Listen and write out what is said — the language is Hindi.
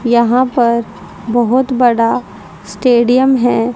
यहां पर बहोत बड़ा स्टेडियम है।